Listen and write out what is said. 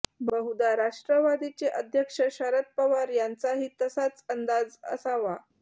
बहुधा राष्ट्रवादीचे अध्यक्ष शरद पवार यांचाही तसाच अंदाज असावा